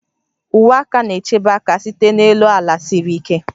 Uwe aka na-echebe aka site n'elu ala siri ike